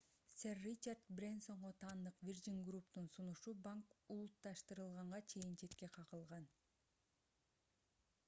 сэр ричард брэнсонго таандык virgin group’тун сунушу банк улутташтырылганга чейин четке кагылган